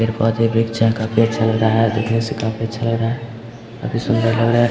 देखने से काफी अच्छा लग रहा है बहुत ही सुंदर लग रहा है।